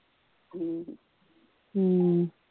ਹਮ